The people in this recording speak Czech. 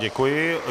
Děkuji.